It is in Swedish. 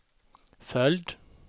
följd